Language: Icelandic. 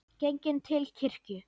Genginn til kirkju.